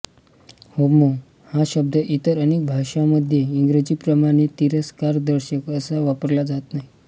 homo हा शब्द इतर अनेक भाषांमध्ये इंग्रजीप्रमाणे तिरस्कारदर्शक असा वापरला जात नाही